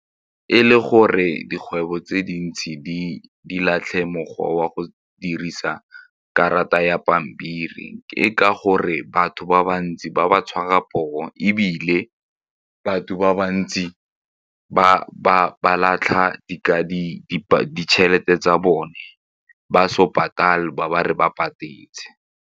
E le gore dikgwebo tse dintsi di latlhe mokgwa wa go dirisa karata ya pampiri e ka gore batho ba bantsi ba ba tshwara poo ebile ka batho ba bantsi ba latlha ditšhelete tsa bone ba patale ba ba re ba patetse.